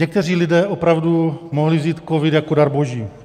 Někteří lidé opravdu mohli vzít covid jako dar boží.